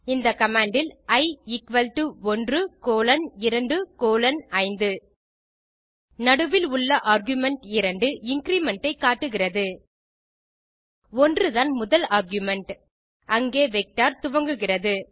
இந்த கமாண்ட் இல் e equal to 1 colon 2 colon 5 நடுவில் உள்ள ஆர்குமென்ட் 2 இன்கிரிமெண்ட் ஐ காட்டுகிறது 1 தான் முதல் ஆர்குமென்ட் அங்கே வெக்டர் துவங்குகிறது